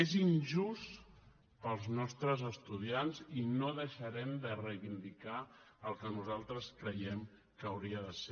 és injust per als nostres estudiants i no deixarem de reivindicar el que nosaltres creiem que hauria de ser